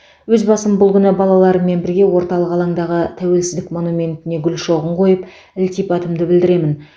өз басым бұл күні балаларыммен бірге орталық алаңдағы тәуелсіздік монументіне гүл шоғын қойып ілтипатымды білдіремін